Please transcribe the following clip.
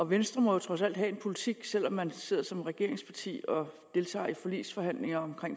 venstre må jo trods alt have en politik selv om man sidder som regeringsparti og deltager i forligsforhandlinger om